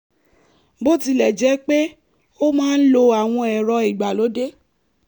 bó tilẹ̀ jẹ́ pé ó máa ń lo àwọn ẹ̀rọ ìgbàlódé